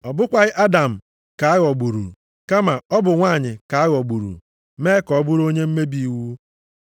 Ọ bụkwaghị Adam ka a ghọgburu, kama ọ bụ nwanyị ka a ghọgburu mee ka ọ bụrụ onye mmebi iwu.